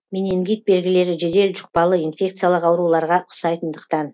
менингит белгілері жедел жұқпалы инфекциялық ауруларға ұқсайтындықтан